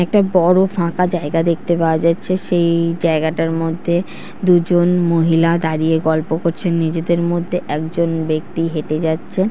একটা বড়ো ফাঁকা জায়গা দেখতে পাওয়া যাচ্ছে সেই ই জায়গাটার মধ্যে দুজন মহিলা দাঁড়িয়ে গল্প করছেন নিজেদের মধ্যে একজন ব্যক্তি হেঁটে যাচ্ছে।